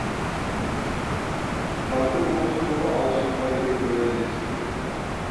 құнанбай осы жолы алшынбаймен уәделесіп келіпті